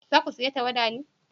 za ku saya tawada ne?